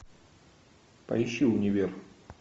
поищи универ